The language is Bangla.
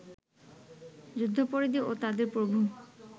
যুদ্ধাপরাধী ও তাদের প্রভু